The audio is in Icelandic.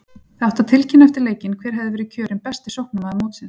Það átti að tilkynna eftir leikinn hver hefði verið kjörinn besti sóknarmaður mótsins!